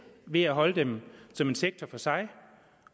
ved at holde dem som en sektor for sig